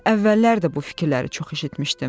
Mən əvvəllər də bu fikirləri çox eşitmişdim.